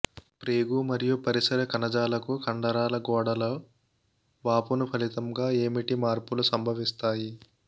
ప్రేగు మరియు పరిసర కణజాలాలకు కండరాల గోడలో వాపును ఫలితంగా ఏమిటి మార్పులు సంభవించాయి